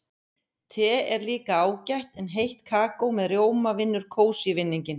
Te er líka ágætt en heitt kakó með rjóma vinnur kósí-vinninginn.